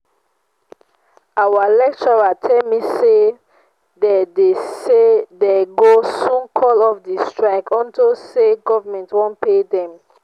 our lecturer tell me say dey me say dey go soon call off the strike unto say government wan pay dem